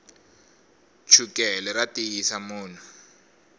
chukele ra tiyisa munhu